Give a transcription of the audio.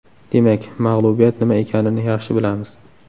Demak, mag‘lubiyat nima ekanini yaxshi bilamiz.